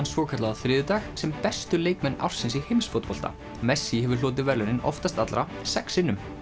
svokallaða á þriðjudag sem bestu leikmenn ársins í heimsfótbolta messi hefur hlotið verðlaunin oftast allra sex sinnum